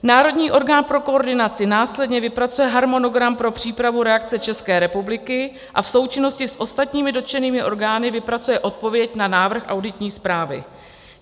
Národní orgán pro koordinaci následně vypracuje harmonogram pro přípravu reakce České republiky a v součinnosti s ostatními dotčenými orgány vypracuje odpověď na návrh auditní zprávy.